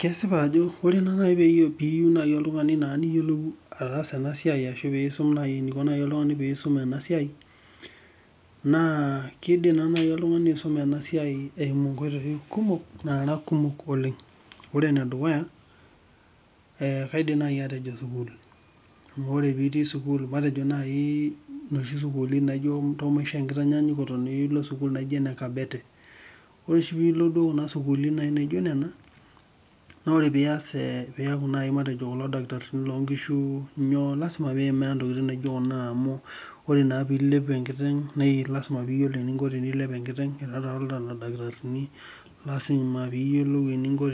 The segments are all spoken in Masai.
Kesipa Ajo teniyieu naaji oltung'ani niyiolou enasiai ashu enikoo naaji oltung'ani pee eisum enasiai naa kidim naaji oltung'ani aisuma ena siai eyimu nkoitoi nara kumok oleng ore ene dukuya naa kaidim atejo sukuul amu ore pitii sukuul matejo najii noshi sukuulini ntasho maishoo enkitanyanyukoto naijio ene kabete ore oshi pee elo sukuulini naijio Nena naa ore naaji pee eas matejo kulo dakitarini loo nkishu lasima pee eyimaa ntokitin naijio Kuna amu lasima pee eyiolou eninko tenilep enkiteng ore taata Leo dakitarini lasima piyiolou eninko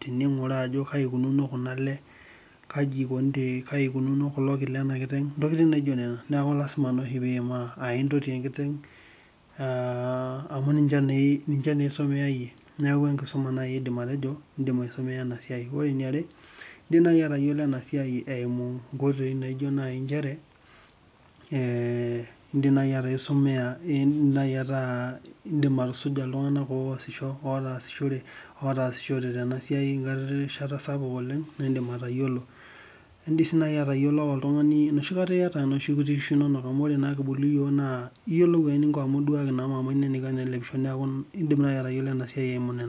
teninguraa Ajo kaji eikunono Kuna ale kaji eikunono kulo kii Lena kiteng neeku naa oshi lasima pee eyimaa aa entotii enkiteng amu ninche naa esomea eyie neeku enkisuma naaji ajoito edim aisomea ena siai ore eniare edim naaji atayiolo ena enasiai aa edim naaji ataa edim atusuja iltung'ana otasishote Tena siai enkata sapuk edim sii atayiolo eyata nooshi kuti kishu enono amu ore naa kibulu iyiok naa eyiolou amu eduaki mama eno eniko enelepishi neeku edim naaji atayiolo enasiai eyimu nena